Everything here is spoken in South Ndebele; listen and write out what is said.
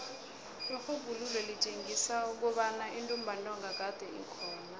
irhubhululo litjengisa kobana intumbantonga kade ikhona